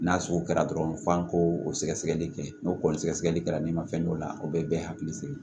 N'a sugu kɛra dɔrɔn f'an k'o sɛgɛsɛgɛli kɛ n'o kɔni sɛgɛsɛgɛli kɛra ne ma fɛn dɔ la o bɛ bɛɛ hakili sigi